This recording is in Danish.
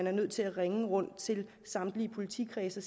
er nødt til at ringe rundt til samtlige politikredse